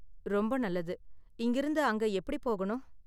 ரொம்ப நல்லது. இங்கிருந்து அங்க எப்படி போகணும்?